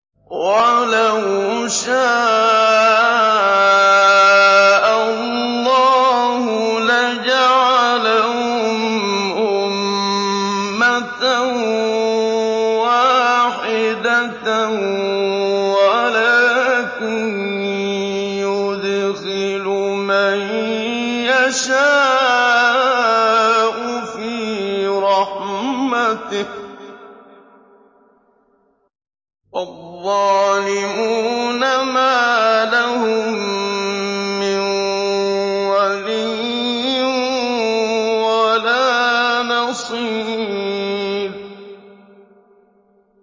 وَلَوْ شَاءَ اللَّهُ لَجَعَلَهُمْ أُمَّةً وَاحِدَةً وَلَٰكِن يُدْخِلُ مَن يَشَاءُ فِي رَحْمَتِهِ ۚ وَالظَّالِمُونَ مَا لَهُم مِّن وَلِيٍّ وَلَا نَصِيرٍ